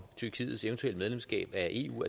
tyrkiets eventuelle medlemskab af eu